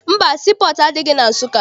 Mba, sii pọọtụ adịghị na Nsụka.